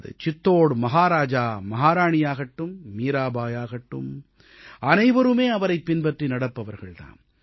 அது சிட்டூர் மஹாராஜா மஹாராணியாகட்டும் மீராபாய் ஆகட்டும் அனைவருமே அவரைப் பின்பற்றி நடப்பவர்கள் தாம்